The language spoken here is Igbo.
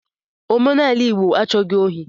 Omenala Igbo achọghi ndi ohi